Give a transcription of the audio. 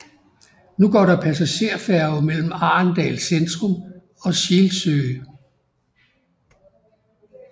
Nu går der passagerfærge mellem Arendal centrum og Skilsø